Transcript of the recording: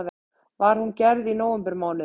Var hún gerð í nóvembermánuði